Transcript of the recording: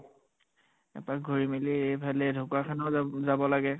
এপাক ঘুৰি মেলি, এইফালে ঢকোৱাখানাও যাব যাব লাগে ।